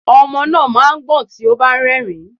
Ọmọ náà má a ń gbọ̀n tí ó bá ti nrìn